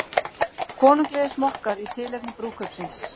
Konunglegir smokkar í tilefni brúðkaupsins